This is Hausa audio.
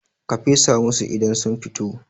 ka fesa musu idan sun fito!